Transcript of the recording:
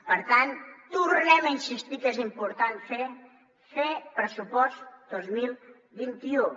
per tant tornem a insistir què és important fer fer pressupost dos mil vint u